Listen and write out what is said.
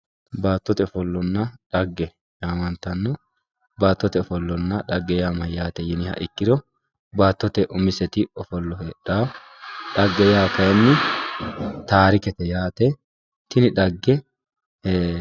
Baattote ofollanna dhagge yaamantanno. Baattote ofollanna dhagge mayyaate yiniha ikkiro baattote umise ofollo heedhawo. Dhagge yaa kayinni taarikete yaate. Tini dhagge